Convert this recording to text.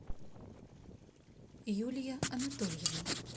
юлия анатольевна